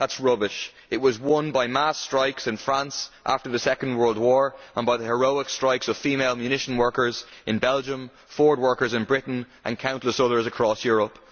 That is rubbish it was won by mass strikes in France after the Second World War and by the heroic strikes of female ammunition workers in Belgium, Ford workers in Britain and countless others across Europe.